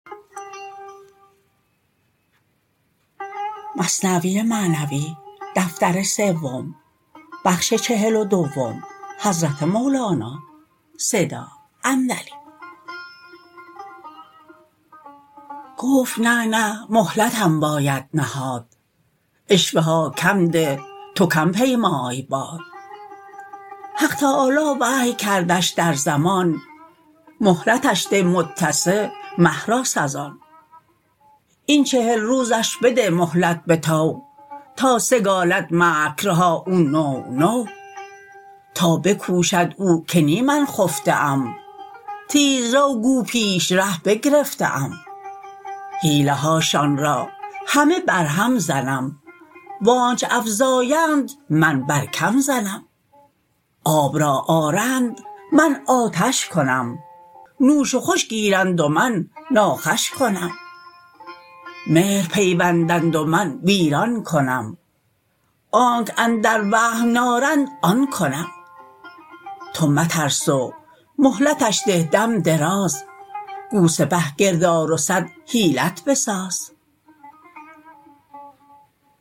گفت نه نه مهلتم باید نهاد عشوه ها کم ده تو کم پیمای باد حق تعالی وحی کردش در زمان مهلتش ده متسع مهراس از آن این چهل روزش بده مهلت بطوع تا سگالد مکرها او نوع نوع تا بکوشد او که نی من خفته ام تیز رو گو پیش ره بگرفته ام حیله هاشان را همه برهم زنم و آنچ افزایند من بر کم زنم آب را آرند من آتش کنم نوش و خوش گیرند و من ناخوش کنم مهر پیوندند و من ویران کنم آنک اندر وهم نارند آن کنم تو مترس و مهلتش ده دم دراز گو سپه گرد آر و صد حیلت بساز